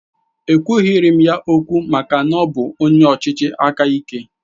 Ekwughiri m ya okwu maka na ọ bụ onye ọchịchị aka ike